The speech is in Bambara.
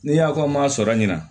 Ni y'a ko n ma sɔrɔ ɲina